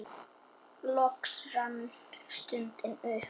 Loks rann stundin upp.